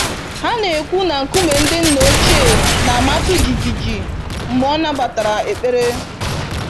Ha na-ekwu na nkume ndị nna ochie na-amatụ jijiji mgbe ọ nabatara ekpere.